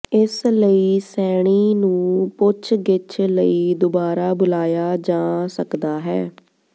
ਇਸ ਲਈ ਸੈਣੀ ਨੂੰ ਪੁੱਛਗਿੱਛ ਲਈ ਦੁਬਾਰਾ ਬੁਲਾਇਆ ਜਾਂ ਸਕਦਾ ਹੈ